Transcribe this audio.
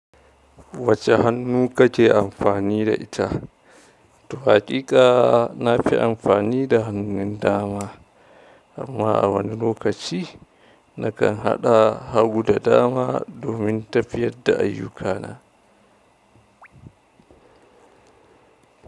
Wace hannu kake amfani da ita? Toh haƙiƙa nafi amfani da hannun dama, amma a wani lokaci na kan haɗa hagu da dama domin tafiyar da ayyukana.